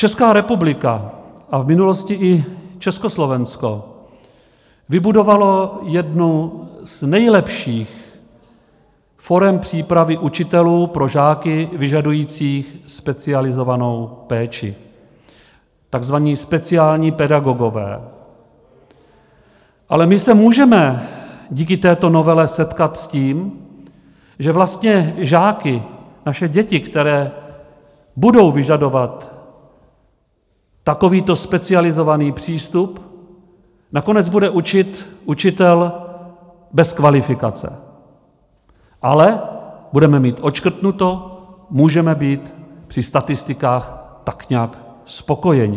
Česká republika a v minulosti i Československo vybudovalo jednu z nejlepších forem přípravy učitelů pro žáky vyžadující specializovanou péči, takzvaní speciální pedagogové, ale my se můžeme díky této novele setkat s tím, že vlastně žáky, naše děti, které budou vyžadovat takovýto specializovaný přístup, nakonec bude učit učitel bez kvalifikace, ale budeme mít odškrtnuto, můžeme být při statistikách tak nějak spokojeni.